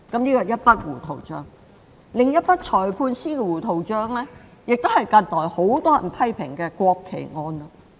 另一筆有關裁判官的糊塗帳是近來很多人批評的國旗案。